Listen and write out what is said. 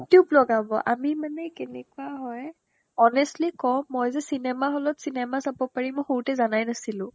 you tube লগাব আমি মানে কেনেকুৱা হয় honestly ক'ম মই যে cinema hall ত cinema চাব পাৰিম মই সৰুতে জানাই নাছিলো